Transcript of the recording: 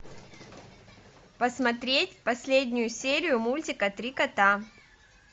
посмотреть последнюю серию мультика три кота